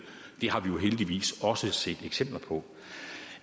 det har vi jo heldigvis også set eksempler på